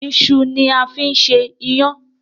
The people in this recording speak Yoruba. Iṣu ni a fi ń ṣe iyán.